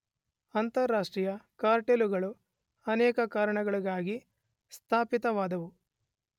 ಅಂತಾರಾಷ್ಟ್ರೀಯ ಕಾರ್ಟೆಲ್ಲುಗಳು ಅನೇಕ ಕಾರಣಗಳಿಗಾಗಿ ಸ್ಥಾಪಿತವಾದುವು.